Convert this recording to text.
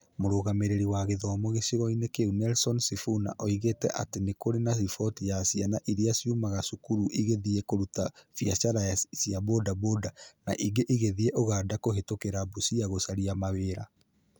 Mũrũgamĩrĩri wa gĩthomo gĩcigoinĩ kĩu Nelson Sifuna oigĩte atĩ nĩ kũrĩ na riboti cia ciana iria ciumaga cukuru igĩthiĩ kũruta biacara cia bodaboda, na ingĩ igĩthiĩ ũganda kũhĩtũkĩra Busia gũcaria mawĩra.